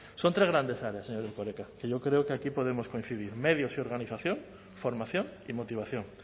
son tres grandes áreas señor erkoreka que yo creo que aquí podemos coincidir medios y organización formación y motivación